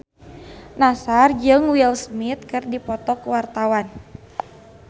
Nassar jeung Will Smith keur dipoto ku wartawan